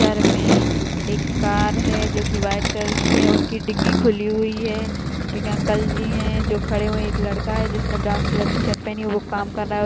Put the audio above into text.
इस इमेज में एक कार है जो की वाइट कलर की है उसकी डिग्गी खुली हुई है एक अंकल जी है जो खड़े हुए हैं एक लड़का है जिसने ब्राउन कलर की शर्ट पहनी है वह काम कर रहा है।